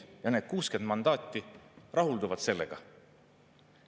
Ja need 60 mandaati rahulduvad sellega.